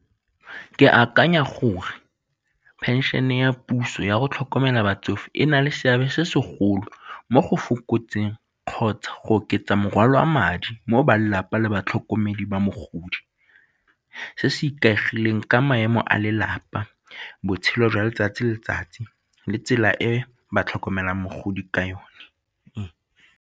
Ke akanya gore phenšene ya puso ya go tlhokomela batsofe e na le seabe se segolo mo go fokotseng kgotsa go oketsa morwalo wa madi mo balelapa le tlhokomedi ba mogodi, se se ikaegileng ka maemo a lelapa, botshelo jwa letsatsi le letsatsi le tsela e ba tlhokomelang mogodi ka yone.